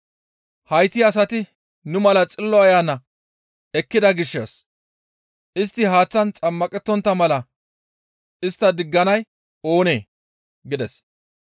«Hayti asati nu mala Xillo Ayana ekkida gishshas istti haaththan xammaqettontta mala istta digganay oonee?» gides.